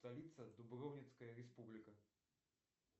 столица дубровницкая республика